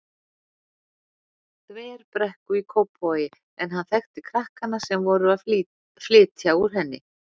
Þverbrekku í Kópavogi en hann þekkti krakkana sem voru að flytja úr henni.